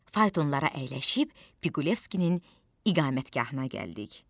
Faytonlara əyləşib Piqolevskinin iqamətgahına gəldik.